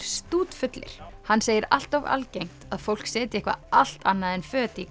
stútfullir hann segir allt of algengt að fólk setji eitthvað allt annað en föt í